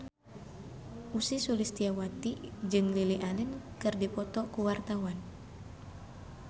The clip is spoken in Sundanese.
Ussy Sulistyawati jeung Lily Allen keur dipoto ku wartawan